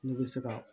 Ne bɛ se ka